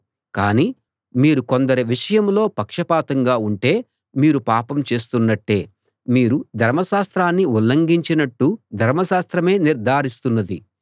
కాని మీరు కొందరి విషయంలో పక్షపాతంగా ఉంటే మీరు పాపం చేస్తున్నట్టే మీరు ధర్మశాస్త్రాన్ని ఉల్లంఘించినట్టు ధర్మశాస్త్రమే నిర్ధారిస్తున్నది